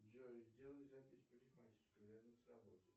джой сделай запись в парикмахерскую рядом с работой